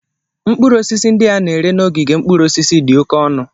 Mkpụrụ osisi ndị a na-ere n'ogige mkpụrụ osisi dị oke ọnụ.